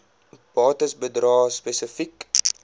bates bedrae spesifiek